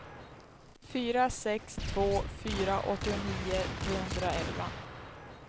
fyra sex två fyra åttionio trehundraelva